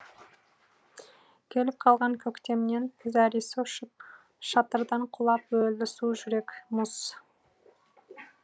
келіп қалған көктемнен зәресі ұшып шатырдан құлап өлді су жүрек мұз